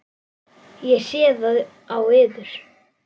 Ég sé það á yður.